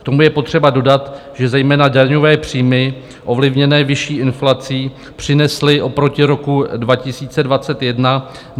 K tomu je potřeba dodat, že zejména daňové příjmy ovlivněné vyšší inflací přinesly oproti roku 2021 na příjmové stránce 74 miliard.